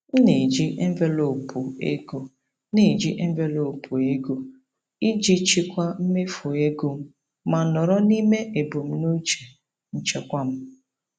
M na-eji envelopu ego na-eji envelopu ego iji chịkwaa mmefu ego ma nọrọ n'ime ebumnuche nchekwa m.